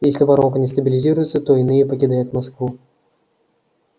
если воронка не стабилизируется то иные покидают москву